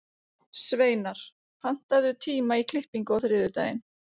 Sveinar, pantaðu tíma í klippingu á þriðjudaginn.